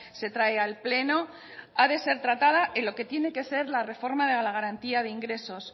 se trae al pleno ha de ser tratada en lo que tiene que ser la reforma de la garantía de ingresos